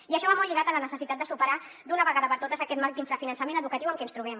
i això va molt lligat a la necessitat de superar d’una vegada per totes aquest marc d’infrafinançament educatiu en què ens trobem